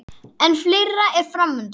En fleira er fram undan.